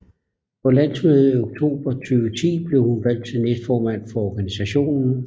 På landsmødet i oktober 2010 blev hun valgt som næstformand for organisationen